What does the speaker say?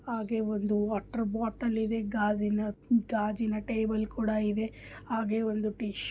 ಹಾಗೆ ಒಂದು ವಾಟರ್ ಬಾಟಲಿ ಇದೆ ಗಾಜಿನ ಗಾಜಿನ ಟೇಬಲ್ ಕೂಡ ಇದೆ ಹಾಗೆ ಒಂದು ಟಿಶ್ಯೂ ---